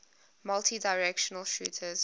multidirectional shooters